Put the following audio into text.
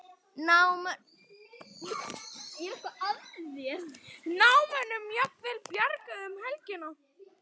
Námamönnum jafnvel bjargað um helgina